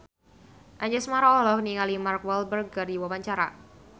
Anjasmara olohok ningali Mark Walberg keur diwawancara